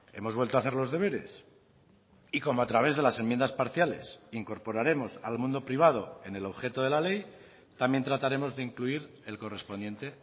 hemos vuelto hacer los deberes y como a través de las enmiendas parciales incorporaremos al mundo privado en el objeto de la ley también trataremos de incluir el correspondiente